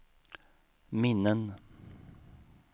minnen